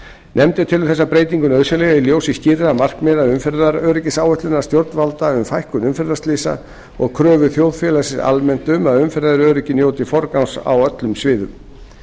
nefndin telur þessa breytingu nauðsynlega í ljósi skýrra markmiða umferðaröryggisáætlunar stjórnvalda um fækkun umferðarslysa og kröfu þjóðfélagsins almennt um að umferðaröryggi njóti forgangs á öllum sviðum